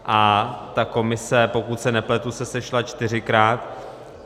A ta komise, pokud se nepletu, se sešla čtyřikrát.